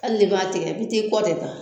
Hali b'a tigɛ i bi taa kɔ de ta